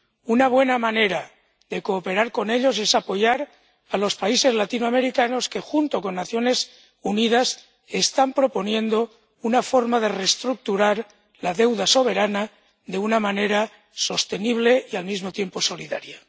Una buena manera de cooperar con ellos es apoyar a los países latinoamericanos que, junto con las Naciones Unidas, están proponiendo una forma de reestructurar la deuda soberana de una manera sostenible y al mismo tiempo solidaria.